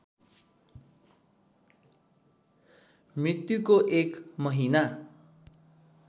मृत्युको एक महिना